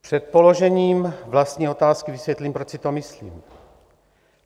Před položením vlastní otázky vysvětlím, proč si to myslím.